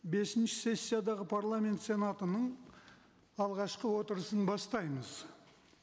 бесінші сессиядағы парламент сенатының алғашқы отырысын бастаймыз